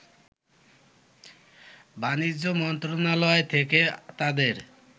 বাণিজ্য মন্ত্রণালয় থেকে তাদের